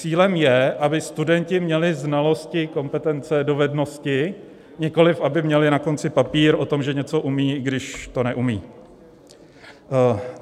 Cílem je, aby studenti měli znalosti, kompetence, dovednosti, nikoliv aby měli na konci papír o tom, že něco umí, i když to neumí.